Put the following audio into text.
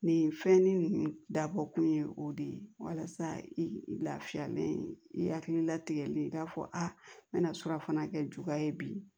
Nin fɛn nin dabɔkun ye o de ye walasa i lafiyalen i hakili latigɛlen i k'a fɔ n bɛna to surafana kɛ juguya ye bi